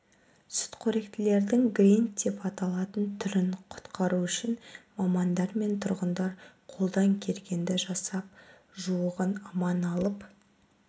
сүтқоректілердің гринд деп аталатын түрін құтқару үшін мамандар мен тұрғындар қолдан келгенді жасап жуығын аман алып